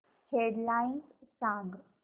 head lines सांग